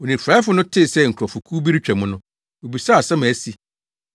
Onifuraefo no tee sɛ nkurɔfokuw bi retwa mu no, obisaa asɛm a asi.